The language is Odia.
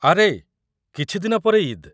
ଆରେ, କିଛି ଦିନ ପରେ ଇଦ୍‌ ।